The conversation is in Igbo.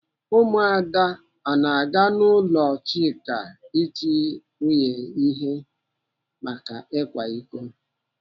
Ụmụada ana aga n'ụlọ Chika iti nwunye ihe maka ịkwa iko?